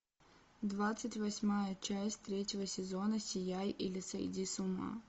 двадцать восьмая часть третьего сезона сияй или сойди с ума